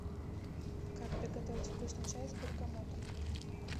как приготовить вкусный чай с бергамотом